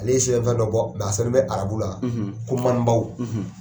Ale ye sɛbɛn fɛn dɔ bɔ a sɛbɛn bɛ arabu la ko